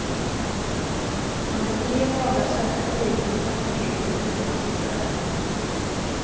Under tre dagar sökte polisen oförtrutet utan att hitta dem.